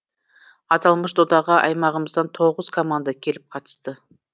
аталмыш додаға аймағымыздан тоғыз команда келіп қатысты